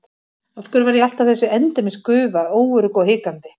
Af hverju var ég alltaf þessi endemis gufa, óörugg og hikandi?